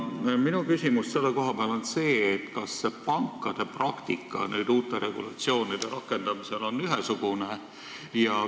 Minu küsimus selle koha pealt on see, kas pankade praktika nüüd uute regulatsioonide rakendamisel on ühesugune.